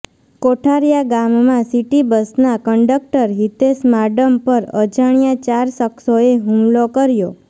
કોઠારીયા ગામમાં સીટી બસના કંડકટર હિતેષ માડમ પર અજાણ્યા ચાર શખ્સોએ હુમલો કર્યો